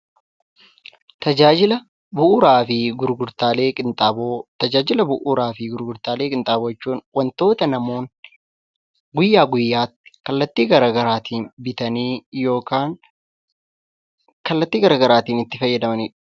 Tajaajila bu'uuraa fi gurgurtaalee qinxaaboo Tajaajila bu'uuraa fi gurgurtaalee qinxaaboo jechuun wantoota namoonni guyyaa guyyaatti kallattii garaagaraatiin bitanii yookaan kallattii garaagaraatiin itti fayyadamanii dha.